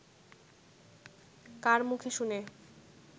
কার মুখে শুনে